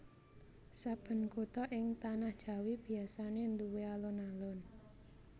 Saben kutha ing tanah Jawi biasané nduwé alun alun